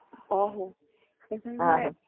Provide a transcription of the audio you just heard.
ਆਹੋ